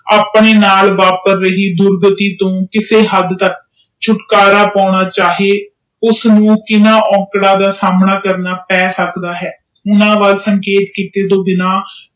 ਆਪਣੇ ਨਾਲ ਇਆਪਰ ਰਹੀ ਡੂਡਲਨਲੀ ਕਿਸੇ ਹਾੜ ਤਕ ਸ਼ਿਊਟਲਕਾਰਾ ਪੈਣਾ ਚਾਹੇ ਓਹਨਾ ਕਿਸੇ ਕੈਸੇ ਕੀਤੇ ਬਿਨਾ